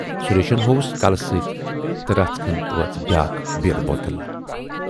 سُریشن ہووُس کلہٕ سۭتۍ تہٕ رژھِ کھٔنڈۍ وٲژ بیاکھ بیٖر بوتل۔